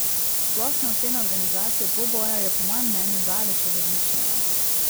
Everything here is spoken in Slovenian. Splošna ocena organizacije dvoboja je po mojem mnenju daleč od odličnega.